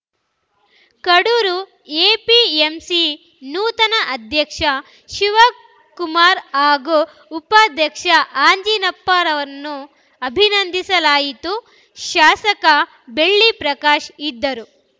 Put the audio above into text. Kadur APMC ನೂತನ ಅಧ್ಯಕ್ಷ ಶಿವಕುಮಾರ್‌ ಹಾಗೂ ಉಪಾಧ್ಯಕ್ಷ ಅಂಜನಪ್ಪರನ್ನು ಅಭಿನಂದಿಸಲಾಯಿತು ಶಾಸಕ ಬೆಳ್ಳಿ ಪ್ರಕಾಶ್‌ ಇದ್ದರು